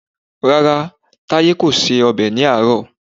Rárá, Táyé kò se ọbẹ̀ ní àárọ̀